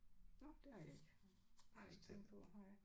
Nåh det har jeg ikke har jeg ikke tænkt på nej